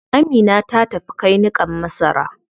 Amina ta tafi kai niƙan masara.